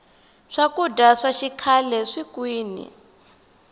swakudya swa xikhle swiye kwini